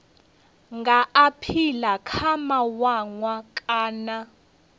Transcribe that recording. nga aphila kha mawanwa kana